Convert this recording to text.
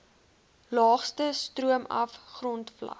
laagste stroomaf grondvlak